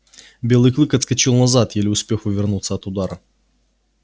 белый клык отскочил назад еле успев увернуться от удара